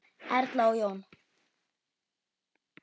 Erla og Jón.